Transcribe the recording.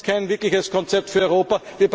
Das ist kein wirkliches Konzept für Europa.